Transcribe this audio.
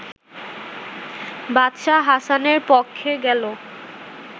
বাদশাহ হাসানের পক্ষে গেল